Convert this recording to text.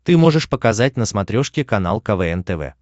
ты можешь показать на смотрешке канал квн тв